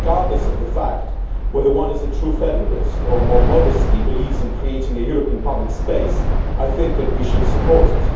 Regardless of whether one is a true federalist or, more modestly, believes in creating a European public space, I think that we should support it.